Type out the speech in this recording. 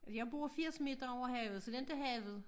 Jeg bor 80 meter over havet så det inte havet